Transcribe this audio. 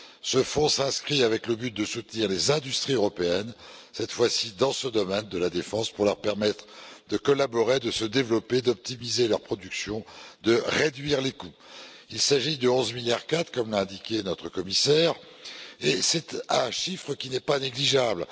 Ce fonds se donne pour objectif de soutenir les industries européennes, cette fois ci dans ce domaine de la défense, pour leur permettre de collaborer, de se développer, d'optimiser leurs productions, de réduire les coûts. Il s'agit de 11,4 milliards, comme l'a indiqué notre commissaire, et c'est un chiffre qui n'est pas négligeable.